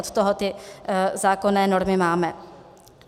Od toho ty zákonné normy máme.